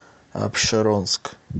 апшеронск